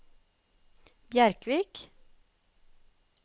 Bjerkvik